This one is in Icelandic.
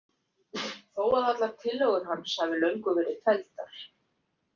Þó að allar tillögur hans hafi löngu verið felldar.